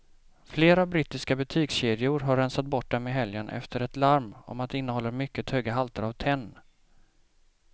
Flera brittiska butikskedjor har rensat bort dem i helgen efter ett larm om att de innehåller mycket höga halter av tenn.